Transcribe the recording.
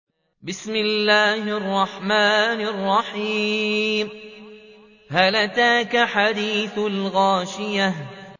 هَلْ أَتَاكَ حَدِيثُ الْغَاشِيَةِ